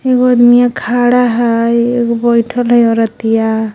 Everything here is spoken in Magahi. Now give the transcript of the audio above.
एगो अदमीया खड़ा है एगो बैठल है औरतिया.